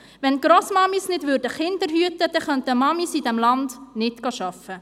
Würden Grossmamis nicht Kinder hüten, könnten Mamis in diesem Land nicht arbeiten gehen.